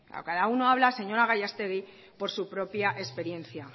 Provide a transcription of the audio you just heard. cada uno habla señora gallastegui por su propia experiencia